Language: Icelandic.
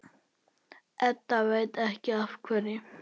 Edda veit ekki af hverju.